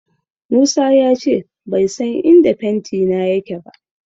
Musa ya ce bai san inda fentina yake ba.